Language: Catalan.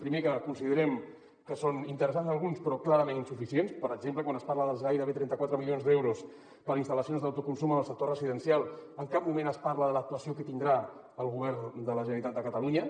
primer que considerem que són interessants alguns però clarament insuficients per exemple quan es parla dels gairebé trenta quatre milions d’euros per a instal·lacions d’autoconsum en el sector residencial en cap moment es parla de l’actuació que tindrà el govern de la generalitat de catalunya